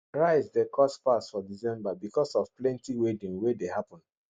rice de cost pass for december because of plenty wedding wey de happen